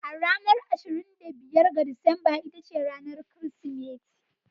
A ranar ashirin da biyar ga Disamba ita ce ranar Kirsimeti.